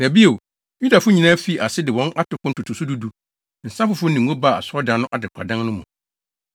Na bio, Yudafo nyinaa fii ase de wɔn atoko ntotoso du du, nsa foforo ne ngo baa Asɔredan no adekoradan no mu.